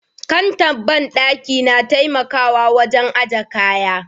Kantar bandaki na taimakawa wajen aje kaya.